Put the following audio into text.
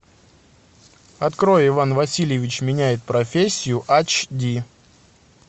открой иван васильевич меняет профессию ач ди